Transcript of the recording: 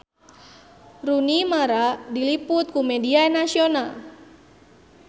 Rooney Mara diliput ku media nasional